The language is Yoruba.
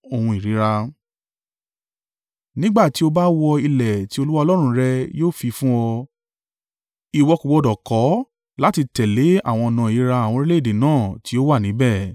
Nígbà tí o bá wọ ilẹ̀ tí Olúwa Ọlọ́run rẹ yóò fi fún ọ, ìwọ kò gbọdọ̀ kọ́ láti tẹ̀lé àwọn ọ̀nà ìríra àwọn orílẹ̀-èdè náà tí ó wà níbẹ̀.